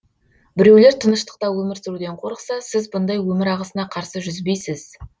біреулер тыныштықта өмір сүруден қорықса сіз бұндай өмір ағысына қарсы жүзбейсіз